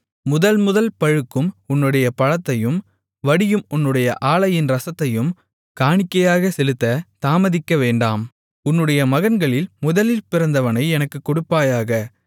முதல் முதல் பழுக்கும் உன்னுடைய பழத்தையும் வடியும் உன்னுடைய ஆலையின் இரசத்தையும் காணிக்கையாகச் செலுத்தத் தாமதிக்கவேண்டாம் உன்னுடைய மகன்களில் முதலில் பிறந்தவனை எனக்குக் கொடுப்பாயாக